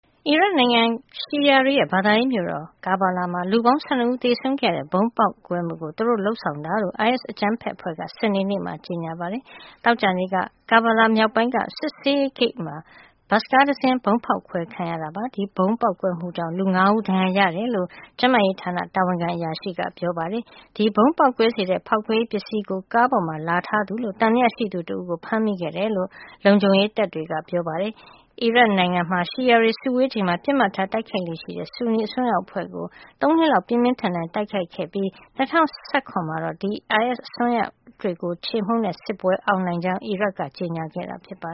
အီရတ်နိုင်ငံမှာ ရှီယာတွေရဲ့ ဘာသာရေးမြို့ဖြစ်တဲ့ Karbala မှာ လူပေါင်း ၁၂ ဦး သေဆုံးခဲ့ရတဲ့ ဗုံးဖောက်ခွဲမှုကို သူတို့လုပ်ဆောင်တာလို့ အိုင်အက်စ် အကြမ်းဖက်အဖွဲ့က စနေနေ့မှာ ကြေညာပါတယ်။ သောကြာနေ့က Karbala မြောက်ပိုင်းက စစ်ဆေးရေးဂိတ်မှာ ဘတ်စ်ကားတစင်း ဗုံးဖောက်ခွဲခံခဲ့ရတာ ဖြစ်ပါတယ်။ ဒီဗုံးပေါက်ကွဲမှုကြောင့် လူ ၅ ဦးလည်း ဒဏ်ရာရခဲ့တယ်လို့ ကျန်းမာရေးတာဝန်ခံ အရာရှိတွေက ပြောပါတယ်။ ဒီဗုံးပေါက်ကွဲစေတဲ့ ဖောက်ခွဲရေးပစ္စည်းတွေကို ကားပေါ်မှာ လာထားသူလို့ သံသယရှိသူတဦးကို ဖမ်းမိခဲ့တယ်လို့ လုံခြုံရေးတပ်တွေက ပြောပါတယ်။ အီရတ်နိုင်ငံမှာ ရှီယာတွေ စုဝေးချိန်မှာ ပစ်မှတ်ထား တိုက်ခိုက်လေ့ရှိတဲ့ ဆူနီအစွန်းရောက်အဖွဲ့ကို ၃ နှစ်လောက် ပြင်းပြင်းထန်ထန် တိုက်ခိုက်ခဲ့ပြီး ၂၀၁၇ မှာတော့ ဒီ အိုင်အက်စ်အစွန်းရောက်တွေကို ချေမှုန်းတဲ့စစ်ပွဲ အောင်နိုင်ကြောင်း အီရတ်က ကြေညာခဲ့တာပါ